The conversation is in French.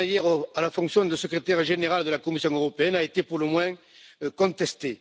Selmayr à la fonction de Secrétaire général de la Commission européenne a été pour le moins contestée.